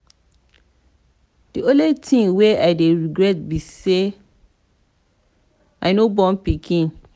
the only thing wey i dey regret be say i no born pikin.